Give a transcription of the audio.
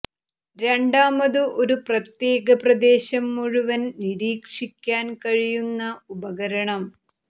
രണ്ടാമത് ഒരു പ്രത്യേക പ്രദേശം മുഴുവൻ നിരീക്ഷിക്കാൻ കഴിയുന്ന ഉപകരണം